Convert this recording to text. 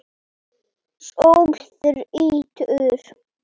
Sól þrýtur.